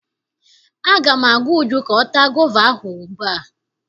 Aga m agwa Uju ka ọ taa gova ahụ ugbu a!